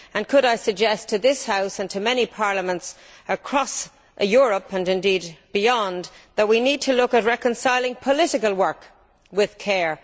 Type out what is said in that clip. Could I suggest to this House and to many parliaments across Europe and indeed beyond that we need to look at reconciling political work with care.